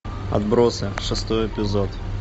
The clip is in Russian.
отбросы шестой эпизод